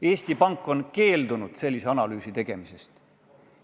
Eesti Pank on keeldunud sellist analüüsi tegemast.